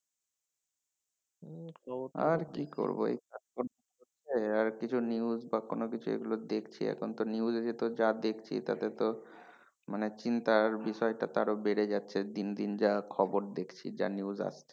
আর কি করবো কিছু news বা কোন কিছু এগুলো দেখছি এখন তো news এ তো যা দেখছি তাতে তো মানে চিন্তার বিষয়টা তো আরও বেড়ে যাচ্ছে দিন দিন যা খবর দেখছি যা news আসছে।